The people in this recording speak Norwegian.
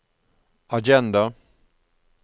agenda